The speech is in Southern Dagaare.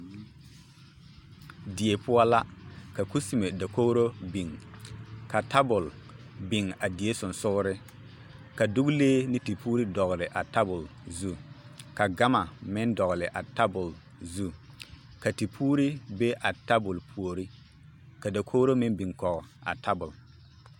Die poɔ la ka kusime dakogiro biŋ ka tabol biŋ a die sonsogere ka dogelee ne tepuuri dɔgele a tabol zu, ka gama meŋ dɔgele a tabol zu ka tepuuri be a tabol puori ka dakogiri meŋ biŋ kɔge a tabol.